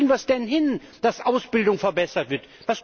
Wie kriegen wir es denn hin, dass Ausbildung verbessert wird?